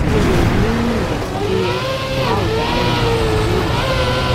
O lè ní ìrètí pé a óò dáhùn ìbéèrè rẹ